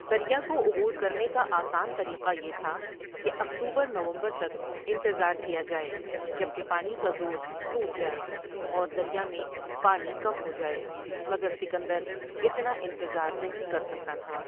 دریا کو عبور کرنے کا آسان طریقہ یہ تھا کہ اکتوبر نومبر تک انتظار کیا جائے جب کہ پانی کا زور ٹوٹ جائے اور دریا میں پانی کم ہوجائے مگر سکندر اتنا انتظار نہیں کرسکتا تھا ۔